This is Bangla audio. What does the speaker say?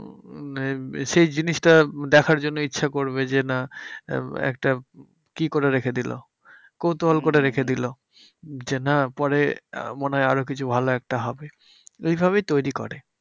সেই জিনিসটা দেখার জন্যে ইচ্ছে করবে যে, না একটা কি করে রেখে দিলো? কৌতূহল করে রেখে দিলো। যে না পরে মনে হয় আরো কিছু ভালো একটা হবে, ওইভাবেই তৈরী করে।